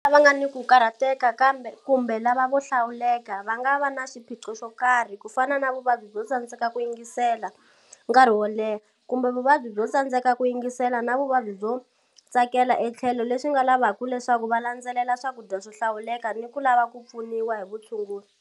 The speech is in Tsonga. Vana lava nga ni ku karhateka kumbe lava vo 'hlawuleka'va nga va na xiphiqo xo karhi, ku fana na vuvabyi byo tsandzeka ku yingisela nkarhi wo leha, kumbe vuvabyi byo tsandzeka ku yingisela na vuvabyi byo tsakela etlhelo leswi swi nga lavaka leswaku va landzelela swakudya swo hlawuleka ni ku lava ku pfuniwa hi vutshunguri.